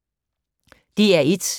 DR1